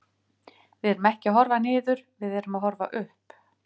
Við erum ekki að horfa niður, við erum að horfa upp.